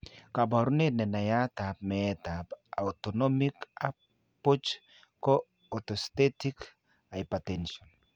Kabarunet nenaiyat ab meet ab autonomic ab buch ko orthostatic hypotension